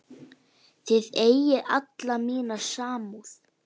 Þið eigið alla mína samúð.